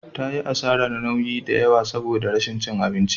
Ta yi asarar nauyi da yawa saboda rashin cin abinci.